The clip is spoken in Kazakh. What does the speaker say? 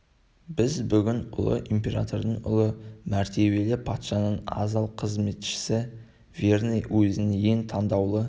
біз бүгін ұлы императордың ұлы мәртебелі патшаның адал қызметшісі верный уезінің ең тандаулы